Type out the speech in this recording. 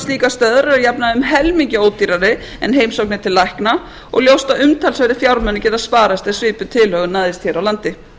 slíkar stöðvar eru að jafnaði um helmingi ódýrari en heimsóknir til lækna og ljóst að umtalsverðir fjármunir geta sparast ef svipuð tilhögun næðist hér á landi